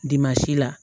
la